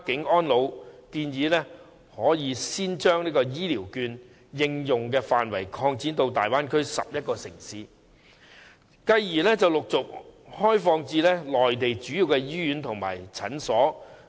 我們建議可先將醫療券的應用範圍擴展至大灣區11個城市，繼而陸續開放至內地主要醫院和診所。